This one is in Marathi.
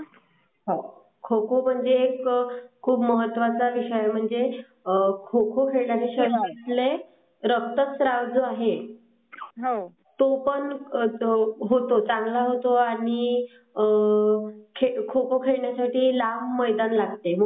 खो खो म्हणजे हा खूप महत्वाचा विषय आहे खो खो खेळल्याने शरीरातले रक्तस्राव जो आहे तो पण होतो चांगला होतो आणि आ खो खो खेळण्या साठी लाम मैदान लागते, मोठा जात.